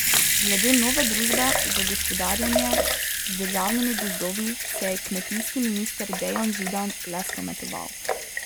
Glede nove družbe za gospodarjenje z državnimi gozdovi se je kmetijski minister Dejan Židan le spametoval.